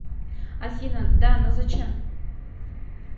афина да но зачем